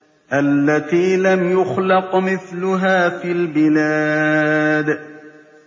الَّتِي لَمْ يُخْلَقْ مِثْلُهَا فِي الْبِلَادِ